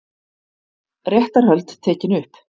Réttarhöld tekin upp